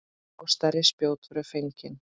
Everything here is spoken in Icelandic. Og stærri spjót voru fengin.